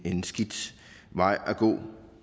en skidt vej at gå